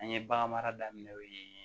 An ye bagan mara daminɛ o ye